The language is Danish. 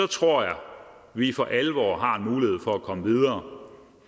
tror jeg vi for alvor har en mulighed for at komme videre